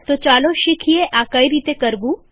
તો ચાલો શીખીએ આ કઈ રીતે કરવું